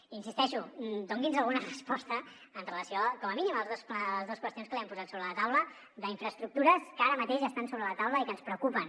i hi insisteixo doni’ns alguna resposta amb relació com a mínim a les dues qüestions que li hem posat sobre la taula d’infraestructures que ara mateix estan sobre la taula i que ens preocupen